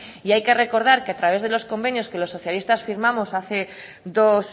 y hay que recordar que a través de los convenios que los socialistas firmamos hace dos